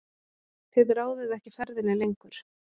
Þið ráðið ekki ferðinni lengur.